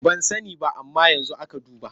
Ban sani ba amma yanzu aka duba.